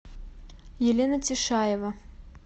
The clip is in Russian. елена тишаева